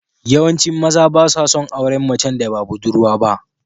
Yawancin maza ba sa son auren macen da ba budurwa ba.